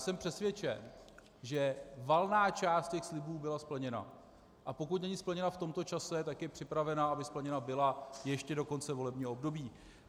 Jsem přesvědčen, že valná část těch slibů byla splněna, a pokud není splněna v tomto čase, tak je připravena, aby splněna byla ještě do konce volebního období.